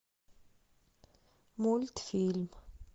мультфильм